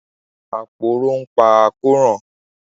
Aporó ń pa àkóràn